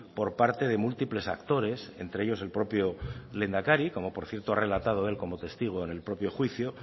por parte de múltiples actores entre ellos el propio lehendakari como por cierto ha relatado él como testigo en el propio juicio